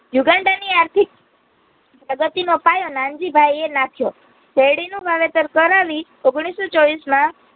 યુગાંડાની આર્થિક પ્રગતિનો પાયો નનજીભાઈએ નાખ્યો. સેરડીનું કરાવી ઓગણીસસો ચોવીસમાં